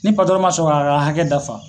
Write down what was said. Ni ma sɔn k'a ka hakɛ dafa